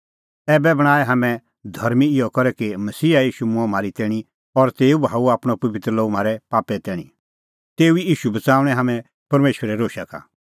ऐबै बणांऐं हाम्हैं धर्मीं इहअ करै कि मसीहा ईशू मूंअ म्हारी तैणीं और तेऊ बहाऊअ आपणअ पबित्र लोहू म्हारै पापे तैणीं तेऊ ई ईशू बच़ाऊंणै हाम्हैं परमेशरे रोशा का